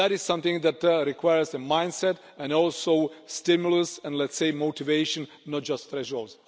That is something that requires a mindset and also stimulus and, let's say, motivation, not just thresholds.